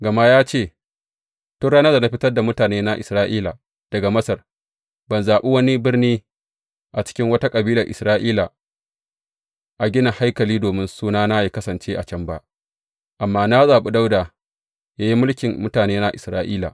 Gama ya ce, Tun ran da na fitar da mutanena Isra’ila daga Masar, ban zaɓi wani birni a cikin wata kabilar Isra’ila a gina haikali domin Sunana yă kasance a can ba, amma na zaɓi Dawuda yă yi mulkin mutanena Isra’ila.’